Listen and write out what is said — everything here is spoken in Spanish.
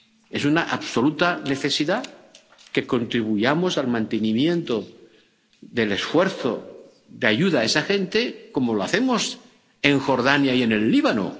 Es una absoluta necesidad que contribuyamos al mantenimiento del esfuerzo de ayuda a esa gente, como lo hacemos en Jordania y en el Líbano.